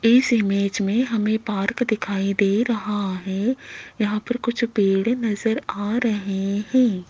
इस इमेज में हमें पार्क दिखाई दे रहा है यहां पर कुछ पेड़ नजर आ रहे हैं।